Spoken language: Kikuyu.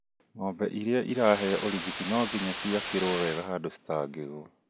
Ng'ombe iia ciraheo urigiti nonginya ciakĩrwo wega handũ citangigwa.